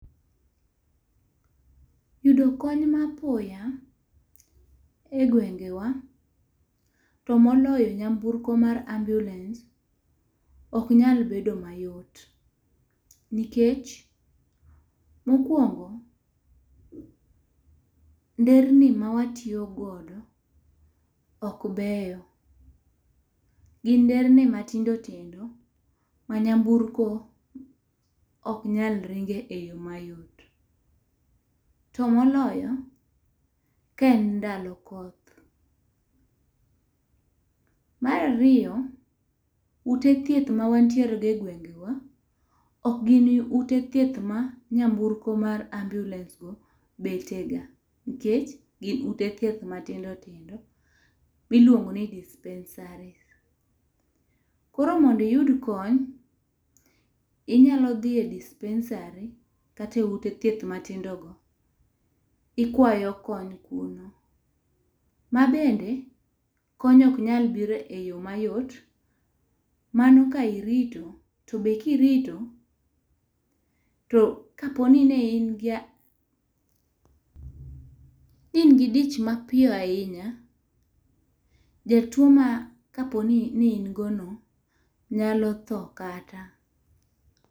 Yudo kony ma apoya e gwengewa to moloyo nyamburko mar ambulance ok nyal bedo mayot nikech mo kuongo, nderni ma watiyo godo ok beyo, gin nderni matindo tindo ma nyamburko ok nyalo ringe e yo mayot. To moloyo ka en ndalo koth. Mar ariyo ute thieth ma wan tiere go e gwengewa ok gin ute thieth ma nyamburko mar ambulance go bete ga ,nikech gin ute thieth matindo tindo mi iluongo ni dispensary. Koro mondo iyud kony inyalo dhiye e dispensary kata e ute thieth matindo go, ikwayo kony kuro. Ma bende kony ok nyal biro e yo ma yot mano ka irito, to be ki irito to ka po ni ne in ga ne in gi dich ma piyo ahinya, jatuo ma ka po ni ne in go no nyalo tho kata.